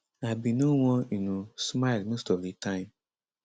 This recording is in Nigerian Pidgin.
i bin no wan um smile most of di time